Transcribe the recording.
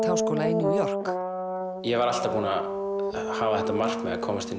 háskóla í New York ég var alltaf búinn að hafa þetta markmið að komast inn